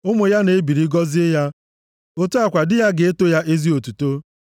Ụmụ ya na-ebili gọzie ya; otu a kwa di ya ga-eto ya ezi otuto.